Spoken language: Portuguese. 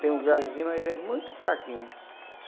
Tem um gravezinho, mas é muito fraquinho.